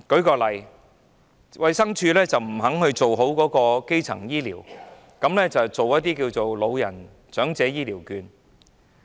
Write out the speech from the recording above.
舉例說，衞生署不肯做好基層醫療的工作，反而推出長者醫療券。